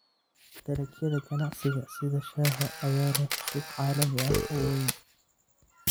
Dalagyada ganacsiga sida shaaha ayaa leh suuq caalami ah oo weyn.